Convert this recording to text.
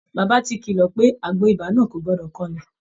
Bàbá ti kílọ̀ pé àgbo ibà náà kò gbọdọ̀ kanlẹ̀